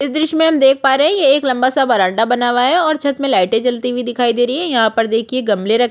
इस दृश्य में हम देख पा रहै है ये एक लंबा सा बरामदा बना हुआ है और छत में लाइटे जलती हुई दिख रही है यहाँ पर देखिए गमले--